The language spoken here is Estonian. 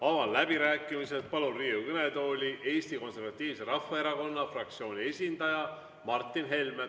Avan läbirääkimised ja palun Riigikogu kõnetooli Eesti Konservatiivse Rahvaerakonna fraktsiooni esindaja Martin Helme.